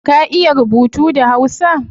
Ka iya rubutu da hausa?